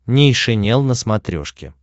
нейшенел на смотрешке